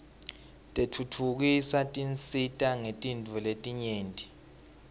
tentfutfuko tisisita ngetintfo letinyenti